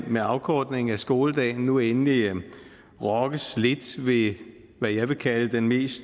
med afkortningen af skoledagen nu endelig rokkes lidt ved hvad jeg vil kalde den mest